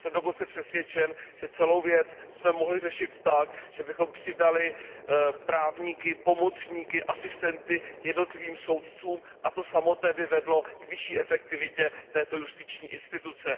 Jsem dokonce přesvědčen, že celou věc jsme mohli řešit tak, že bychom přidali právníky, pomocníky, asistenty jednotlivým soudcům, a to samotné by vedlo k vyšší efektivitě této justiční instituce.